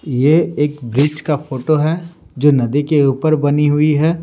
ये एक ब्रिज का फोटो है जो नदी के ऊपर बनी हुई है।